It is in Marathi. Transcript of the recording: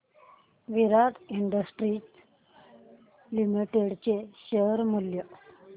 विराट इंडस्ट्रीज लिमिटेड चे शेअर मूल्य